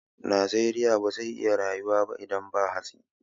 Namiji bazai iya rayuwa ba idan ba hatsi